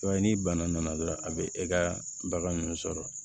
I b'a ye ni bana nana dɔrɔn a bɛ e ka bagan ninnu sɔrɔ